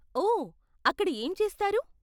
ఓ, అక్కడ ఏం చేస్తారు?